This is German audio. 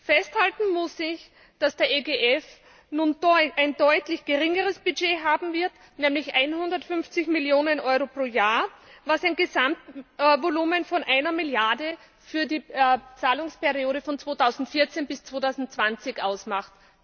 Festhalten muss ich, dass der EGF nun ein deutlich geringeres Budget haben wird, nämlich 150 Millionen Euro pro Jahr, was ein Gesamtvolumen von einer Milliarde für die Zahlungsperiode von 2014 bis 2020 ausmacht.